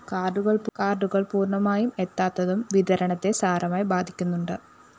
കാര്‍ഡുകള്‍ പൂര്‍ണമായും എത്താത്തതും വിതരണത്തെ സാരമായി ബാധിക്കുന്നുണ്ട്